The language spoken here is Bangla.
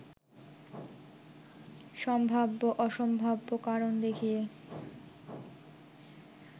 সম্ভাব্য-অসম্ভাব্য কারণ দেখিয়ে